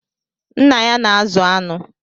Nna ya na-azụ anụ.